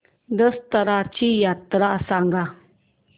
दसर्याची यात्रा सांगा